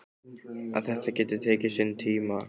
Að þetta geti tekið sinn tíma.